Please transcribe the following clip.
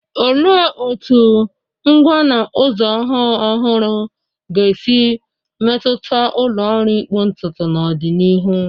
Olee otú ngwa na ụzọ ọhụụ ọhụrụ ga-esi metụta ụlọ ọrụ ịkpụ ntutu n'ọdịnihu?